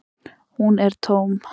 Hún er tóm.